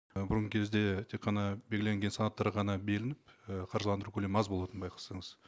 і бұрынғы кезде тек қана белгіленген санаттар ғана беріліп і қаржыландыру көлемі аз болатын байқасаңыз